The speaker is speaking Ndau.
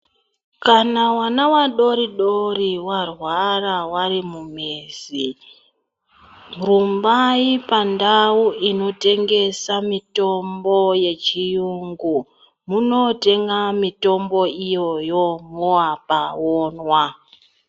Kana vana vadodori varwara varimumizi rumbai pandau inotengesa mitombo yechirungu munotenga mitombo iyoyo movapa vomwa.